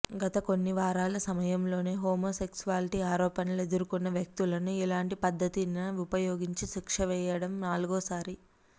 గత కొన్ని వారాల సమయంలోనే హోమోసెక్సువాలిటీ ఆరోపణలు ఎదుర్కొన్న వ్యక్తులను ఇలాంటి పద్ధతినిన ఉపయోగించి శిక్ష వేయడం నాలుగో సారి